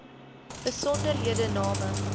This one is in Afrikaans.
besonderhedename